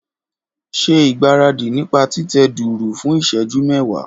Ṣe ìgbáradì nípa títẹ dùùrù fún ìṣẹ́jú mẹ́wàá.